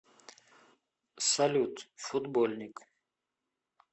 салют футбольник